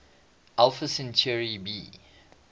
alpha centauri b